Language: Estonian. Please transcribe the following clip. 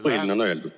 Põhiline on öeldud.